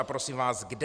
A prosím vás, kde?